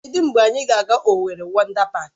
Kedụ mgbe anyị ga-aga Owerri Wọndá Páák?